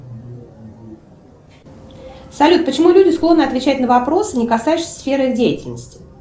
салют почему люди склонны отвечать на вопросы не касающиеся сферы их деятельности